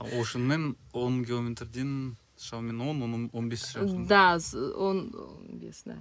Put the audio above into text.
оушмен он мың километрден шамамен он он бес шығар да он он бес да